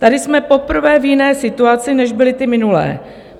Tady jsme poprvé v jiné situaci, než byly ty minulé.